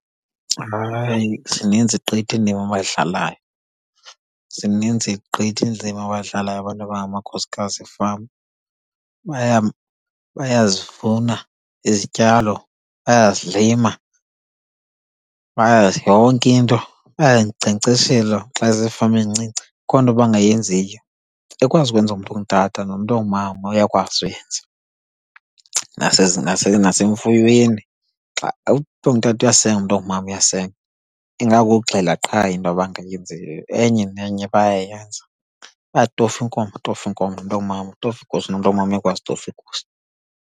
Zininzi gqithi indima abayidlalayo, zininzi gqithi indima abazidlalayo abantu abangamakhosikazi efama. Bayazivuna izityalo, bayazilima yonke nto. Bayazinkcenkceshela xa izifama ezincinci akho nto bangayenziyo. Ekwazi ukwenziwa ngumntu ongutata nongumama uyakwazi uyenza. Nasemfuyweni, umntu ongutata uyasenga, nongumama uyasenga. Ingakukuxhela qha into abangayenziyo, enye nenye bayayenza. Bayazitofa iinkomo, atofe inkomo, umntu ongumama nomntu ongumama uyakwazi ukutofa iigusha.